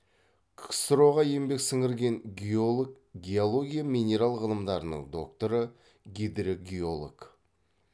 ксро ға еңбек сіңірген геолог геология минерал ғылымдарының докторы гидрогеолог